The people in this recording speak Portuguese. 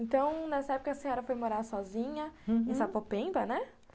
Então, nessa época, a senhora foi morar sozinha, uhum, em Sapopemba, né?